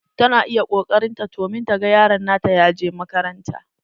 Tana iƴa koƙarin ta domin ta gan yaro nata ya je makaranta.